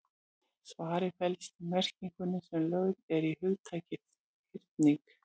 Svarið felst í merkingunni sem lögð er í hugtakið hyrning.